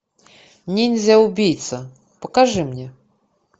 ниндзя убийца покажи мне